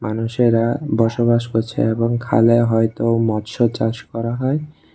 মানুষেরা বসবাস করছে এবং খালে হয়তো মৎস্যচাষ করা হয়।